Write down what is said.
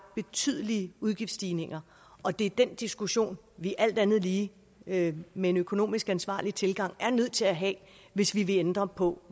betydelige udgiftsstigninger og det er den diskussion vi alt andet lige med med en økonomisk ansvarlig tilgang er nødt til at have hvis vi vil ændre på